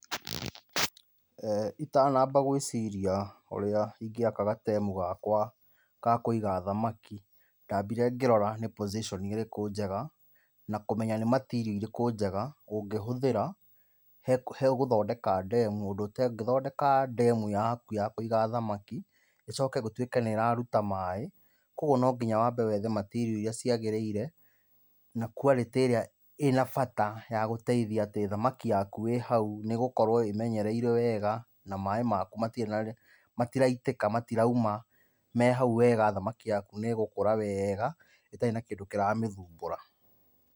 Ee itanamba gwĩciria ũrĩa ingĩaka gatemu gakwa ga kũĩga thamakĩ ndambire ngĩrora nĩ position ĩrĩkũ njega na kũmenya nĩ material irĩkũ njega ũngĩhũthĩra he gũthondeka ndemu ũndũ ũtengĩthondeka ndemu yaku ya Kũiga thamakĩ ĩcoke gũtuĩke nĩ ĩraruta maĩ. Koguo na nginya wambe wethe material iria ciagĩrĩire na quality ĩrĩa ĩna bata ya gũteithia atĩ thamakĩ yaku ĩ hau nĩgũkorwo ĩmenyereirwo wega na maĩ maku matiraitĩka, matirauma, mehau wega. Thamakĩ yaku nĩ ĩgũkũra wega ĩtarĩ na kĩndũ kĩramĩthumbũra.